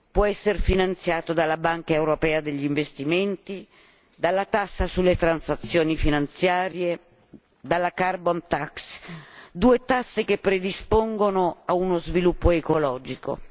Può essere finanziato dalla Banca europea per gli investimenti, dalla tassa sulle transazioni finanziarie, dalla carbon tax due tasse che predispongono a uno sviluppo ecologico.